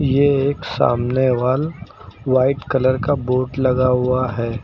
ये एक सामने वॉल व्हाइट कलर का बोर्ड लगा हुआ है।